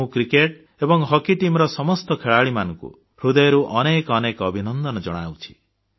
ମୁଁ କ୍ରିକେଟ ଏବଂ ହକି ଦଳର ସମସ୍ତ ଖେଳାଳିମାନଙ୍କୁ ହୃଦୟରୁ ଅନେକ ଅନେକ ଅଭିନନ୍ଦନ ଜଣାଉଛି